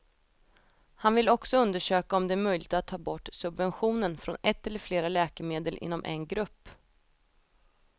Han vill också undersöka om det är möjligt att ta bort subventionen från ett eller flera läkemedel inom en grupp.